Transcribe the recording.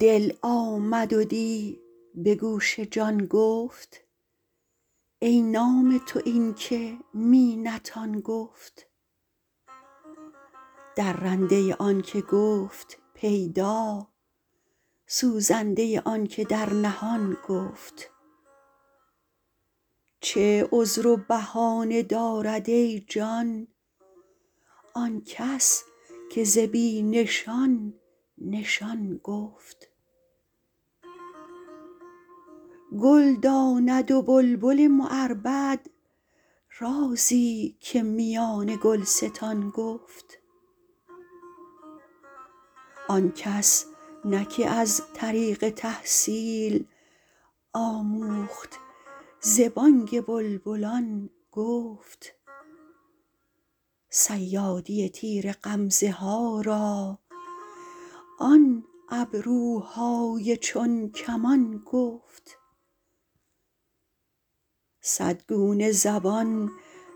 دل آمد و دی به گوش جان گفت ای نام تو این که می نتان گفت درنده آنک گفت پیدا سوزنده آنک در نهان گفت چه عذر و بهانه دارد ای جان آن کس که ز بی نشان نشان گفت گل داند و بلبل معربد رازی که میان گلستان گفت آن کس نه که از طریق تحصیل آموخت ز بانگ بلبلان گفت صیادی تیر غمزه ها را آن ابروهای چون کمان گفت صد گونه زبان